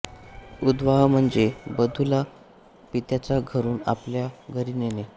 उद्वाह म्हणजे वधूला पित्याच्या घरून आपल्या घरी नेणे